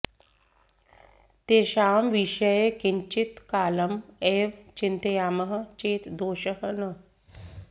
तेषां विषये किञ्चित् कालम् एव चिन्तयामः चेत् दोषः न